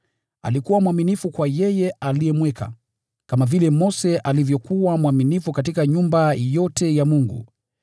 Alikuwa mwaminifu kwa yeye aliyemweka, kama vile Mose alivyokuwa mwaminifu katika nyumba yote ya Mungu.